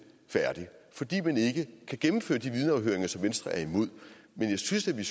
færdig fordi man ikke kan gennemføre de vidneafhøringer som venstre er imod men jeg synes at vi i